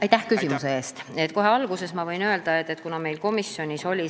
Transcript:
Aitäh küsimuse eest!